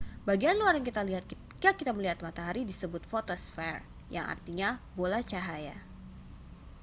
bagian luar yang kita lihat ketika kita melihat matahari disebut fotosfer yang artinya bola cahaya